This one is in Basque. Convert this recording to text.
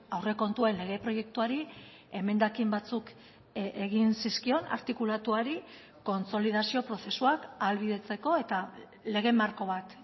aurrekontuen lege proiektuari emendakin batzuk egin zizkion artikulatuari kontsolidazio prozesuak ahalbidetzeko eta lege marko bat